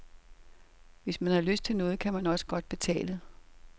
Hvis man har lyst til noget, kan man også godt betale.